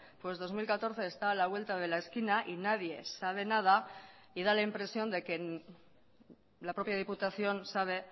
pues dos mil catorce está a la vuelta de la esquina y nadie sabe nada y da la impresión de que la propia diputación sabe